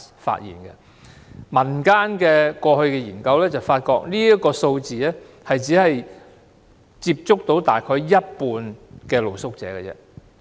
根據民間過去的研究，認為這個數字只是當局接觸到大約一半露宿者。